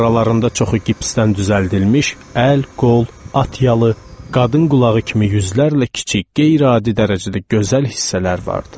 Aralarında çoxu gipsdən düzəldilmiş əl, qol, at yalı, qadın qulağı kimi yüzlərlə kiçik, qeyri-adi dərəcədə gözəl hissələr vardı.